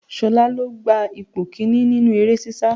Ṣolá lo gba ipò kìíní nínú eré sisa.